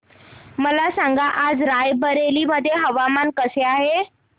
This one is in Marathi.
मला सांगा आज राय बरेली मध्ये हवामान कसे आहे